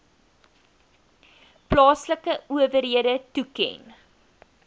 plaaslike owerhede toeken